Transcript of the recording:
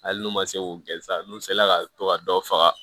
Hali n'u ma se k'u gɛn sa n'u sela ka to ka dɔ faga